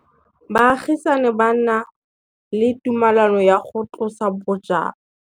Baagisani ba ne ba na le tumalanô ya go tlosa bojang.